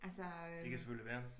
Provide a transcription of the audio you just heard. Det kan selvfølgelig være